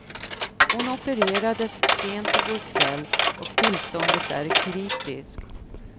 Hon opererades sent i går kväll och tillståndet är kritiskt.